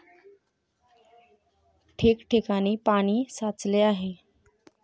ठिकठिकाणी पाणी साचले आहे.